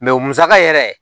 musaka yɛrɛ